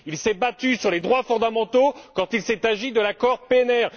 il s'est battu pour les droits fondamentaux quand il s'est agi de l'accord PNR